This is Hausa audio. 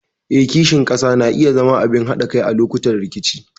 Eh, kishin ƙasa na iya zama abin haɗa kai a lokutan rikici.